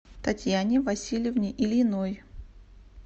татьяне васильевне ильиной